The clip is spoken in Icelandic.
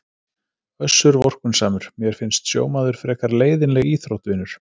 Össur vorkunnsamur:- Mér finnst sjómaður frekar leiðinleg íþrótt vinur.